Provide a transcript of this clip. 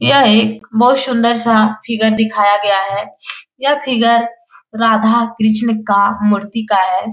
यह एक बहुत सुंदर सा फिगर दिखाया गया है यह फिगर राधा-कृष्णा का मूर्ति का है।